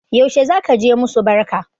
Yaushe zaka je musu barka?